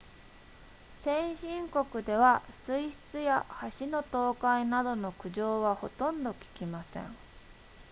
先進国では水質や橋の倒壊などの苦情はほとんど聞きません